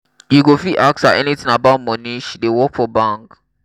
you go fit ask her anything about money she dey work for bank.